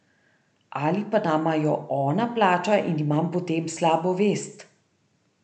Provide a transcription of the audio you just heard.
Ali pa nama jo ona plača in imam potem slabo vest.